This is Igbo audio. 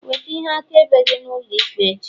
weta ihe akaebe gi n'ulo ikpe echi!